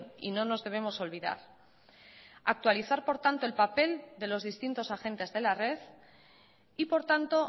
y no nos debemos olvidar actualizar por tanto el papel de los distintos agentes de la red y por tanto